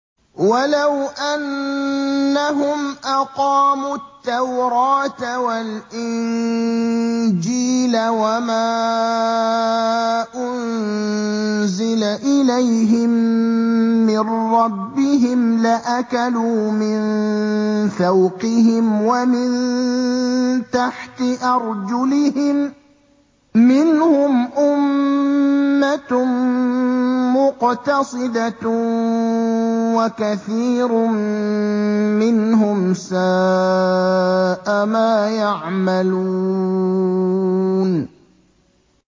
وَلَوْ أَنَّهُمْ أَقَامُوا التَّوْرَاةَ وَالْإِنجِيلَ وَمَا أُنزِلَ إِلَيْهِم مِّن رَّبِّهِمْ لَأَكَلُوا مِن فَوْقِهِمْ وَمِن تَحْتِ أَرْجُلِهِم ۚ مِّنْهُمْ أُمَّةٌ مُّقْتَصِدَةٌ ۖ وَكَثِيرٌ مِّنْهُمْ سَاءَ مَا يَعْمَلُونَ